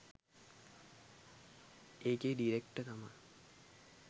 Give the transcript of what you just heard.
ඒකේ ඩිරෙක්ටර් තමා